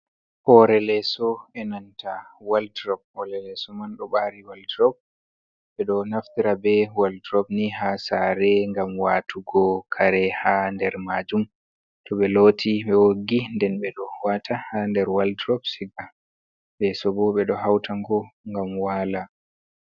Hoore leeso e nanta waldrop, hoore leeso man ɗo mari waldrop ɓe ɗo naftira be waldrop ni ha sare ngam watugo kare ha nder majum to ɓe loti ɓe woggi den ɓe ɗo wata ha nder waldrop siga, leeso bo ɓe do hauta ngo ngam waala.